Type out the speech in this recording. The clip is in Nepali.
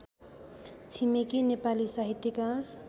छिमेकी नेपाली साहित्यकार